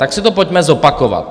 Tak si to pojďme zopakovat.